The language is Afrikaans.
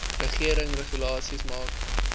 regering regulasies maak